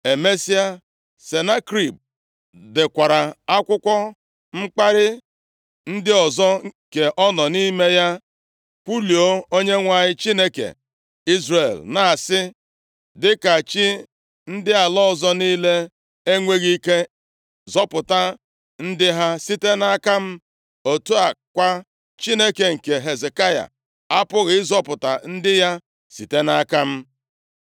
Emesịa, Senakerib dekwara akwụkwọ mkparị ndị ọzọ, nke ọ nọ nʼime ya kwuluo Onyenwe anyị Chineke Izrel, na-asị, “Dịka chi ndị ala ọzọ niile enweghị ike zọpụta ndị ha site nʼaka m, otu a kwa, Chineke nke Hezekaya apụghịkwa ịzọpụta ndị ya site nʼaka m.”